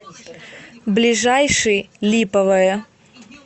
ближайший липовое